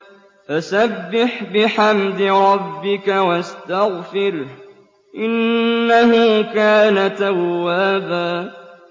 فَسَبِّحْ بِحَمْدِ رَبِّكَ وَاسْتَغْفِرْهُ ۚ إِنَّهُ كَانَ تَوَّابًا